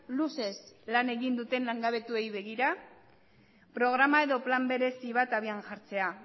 luzez lan egin duten langabetuei begira programa edo plan berezi bat abian jartzea